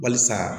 Walisa